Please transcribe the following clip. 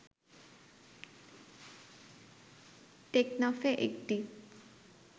টেকনাফে একটি